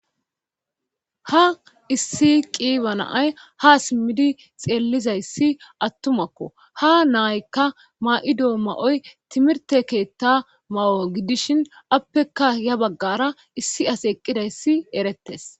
ha issi qiiba naay ha simmidi xeellizayssi attumakko ha naaykka ma7ido ma7oy timirte keetta ma7o gidishin appekka ya baggara issi as eqqidayssi erettes